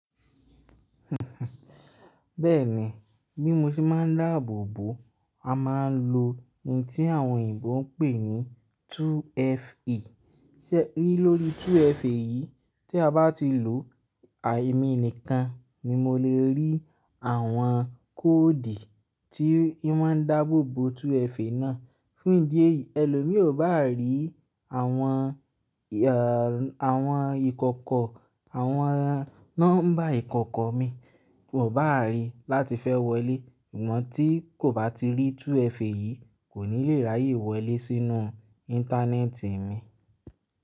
Bẹ́ẹ̀ni, bí mo ṣe máa ń dáàbò bò, a máa ń lo ohun tí àwọn òyìnbó ń pè ní 2FA. Rí lórí 2FA yìí, tí a bá ti lòó, àìmí nìkan ni mo lè rí àwọn kóòdù tí i máa ń dáàbò bò 2FA náà. Fún ìdí èyí, ẹlòmí ò bá rí àwọn, àwọn ìkọ̀kọ̀, àwọn nọ́mbà ìkọ̀kọ̀ mi, kò bá rí láti fẹ́ wọlé. Ìwọntí kò bá ti rí 2FA yìí, kò ní lè ráyè wọlé sínú íńtánẹ́ẹ̀tì mi.